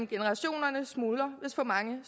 generationer smuldrer hvis for mange